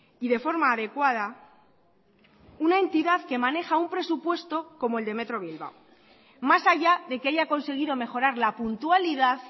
y de forma adecuada una entidad que maneja un presupuesto como el de metro bilbao más allá de que haya conseguido mejorar la puntualidad